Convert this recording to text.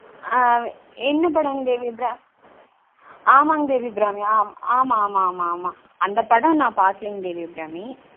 ஆங் என்ன படங்க தேவி அபிராமி ஆமாங்க தேவி அபிராமி ஆமா ஆமா ஆமா அந்தபடம் நா பாக்லீங்க தேவி அபிராமி